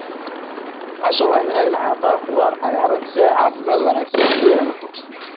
Casho waa in ay lahaataa khudaar cagaaran si ay caafimaad wanaagsan u yeelato.